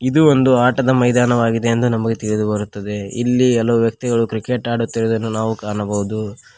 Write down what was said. ಇದು ಒಂದು ಆಟದ ಮೈದಾನವಾಗಿದೆ ಎಂದು ನಮಗೆ ತಿಳಿದು ಬರುತ್ತದೆ ಇಲ್ಲಿ ಹಲವು ವ್ಯಕ್ತಿಗಳು ಕ್ರಿಕೇಟ್ ಆಡುತ್ತಿರುವುದನ್ನು ನಾವು ಕಾಣಬಹುದು.